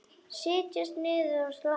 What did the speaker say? Setjast niður og slappa af.